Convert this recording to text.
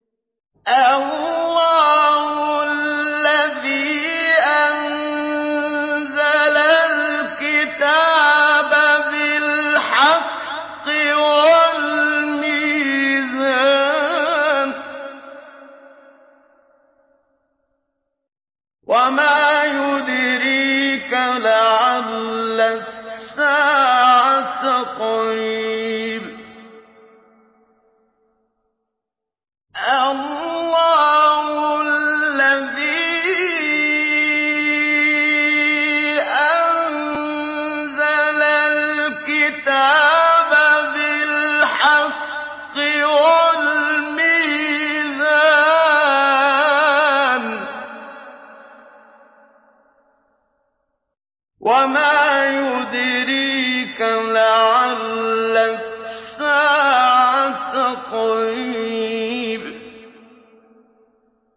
اللَّهُ الَّذِي أَنزَلَ الْكِتَابَ بِالْحَقِّ وَالْمِيزَانَ ۗ وَمَا يُدْرِيكَ لَعَلَّ السَّاعَةَ قَرِيبٌ